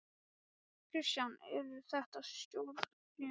Kristján: Eru þetta stóriðjumál?